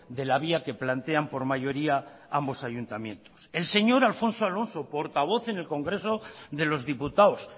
de la vía que plantean por mayoría ambos ayuntamientos el señor alfonso alonso portavoz en el congreso de los diputados